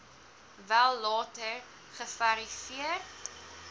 wel later geverifieer